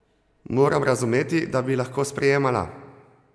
Moram razumeti, da bi lahko sprejemala?